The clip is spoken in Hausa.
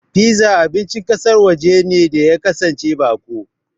Piza abincin ƙasar waje ne da ya kasance baƙo.